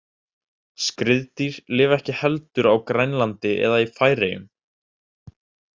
Skriðdýr lifa ekki heldur á Grænlandi eða í Færeyjum.